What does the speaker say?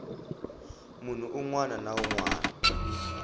munhu wun wana na wun